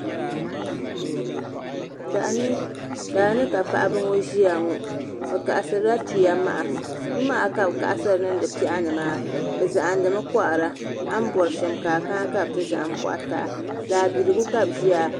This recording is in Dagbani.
Daani ka paɣaba ŋo ʒiya ŋo tumaha ka bi kaɣasiri niŋdi piɛɣu ni maa bi zahandimi kohara a ni bori shɛm ka a kana ka bi ti zaham koha taa daabiligu ka bi ʒiya